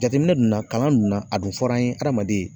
Jateminɛ dun na, kalan dun na a dun fɔra an ye hadamaden